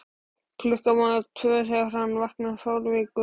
klukkan var tvö þegar hann vaknaði fárveikur.